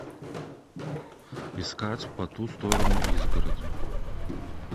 искать по ту сторону изгороди